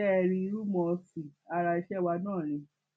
ṣé ẹ rí rúmọọsì ara iṣẹ wa náà ni